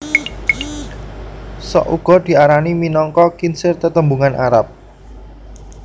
Sok uga diarani minangka khinzir tetembungan Arab